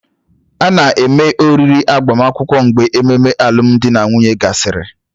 A na-eme oriri agbamakwụkwọ mgbe ememe alụmdi na nwunye gasịrị